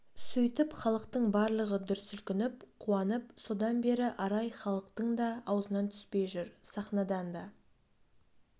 сөйтіп халықтың барлығы дүрсілкініп қуанып содан бері арай халықтың да аузынан түспей жүр сахнадан да